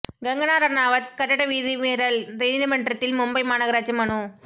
கங்கனா ரணாவத் கட்டட விதிமீறல் நீதிமன்றத்தில் மும்பை மாநகராட்சி மனு